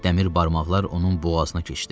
Dəmir barmaqlar onun boğazına keçdi.